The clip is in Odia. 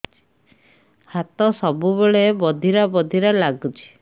ହାତ ସବୁବେଳେ ବଧିରା ବଧିରା ଲାଗୁଚି